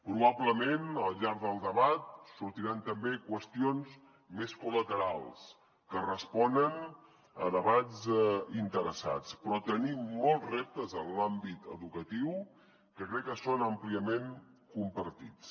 probablement al llarg del debat sortiran també qüestions més col·laterals que responen a debats interessats però tenim molts reptes en l’àmbit educatiu que crec que són àmpliament compartits